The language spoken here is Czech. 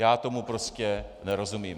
Já tomu prostě nerozumím.